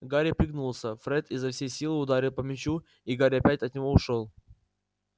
гарри пригнулся фред изо всей силы ударил по мячу и гарри опять от него ушёл